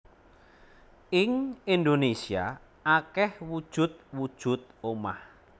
Ing Indonésia akeh wujud wujud omah